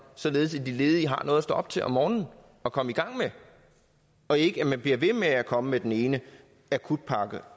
således at de ledige har noget at stå op til om morgenen og komme i gang med og ikke at man bliver ved med at komme med den ene akutpakke